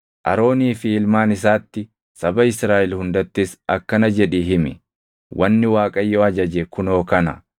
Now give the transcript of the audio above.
“Aroonii fi ilmaan isaatti, saba Israaʼel hundattis akkana jedhii himi; ‘Wanni Waaqayyo ajaje kunoo kana: